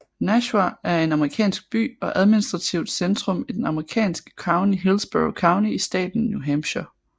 Nashua er en amerikansk by og administrativt centrum i det amerikanske county Hillsborough County i staten New Hampshire